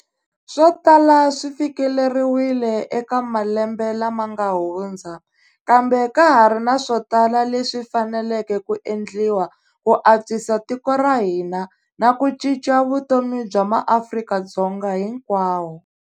Swo tala swi fikeleriwile eka malembe lama nga hundza, kambe ka ha ri na swo tala leswi faneleke ku endliwa ku antswisa tiko ra hina na ku cinca vutomi bya maAfrika-Dzonga hinkwawo.